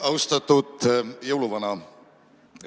Austatud jõuluvana!